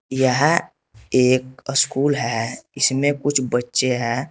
यह एक स्कूल है इसमें कुछ बच्चे हैं।